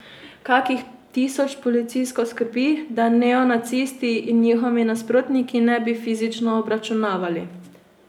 Kakih tisoč policistov skrbi, da neonacisti in njihovi nasprotniki ne bi fizično obračunavali.